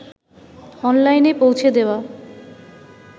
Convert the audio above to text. অনলাইনে পৌঁছে দেওয়া